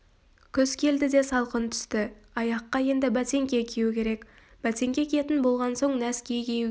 күз келді де салқын түсті аяққа енді бәтеңке кию керек бәтеңке киетін болған соң нәски кию